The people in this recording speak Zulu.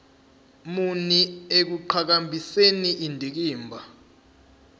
muni ekuqhakambiseni indikimba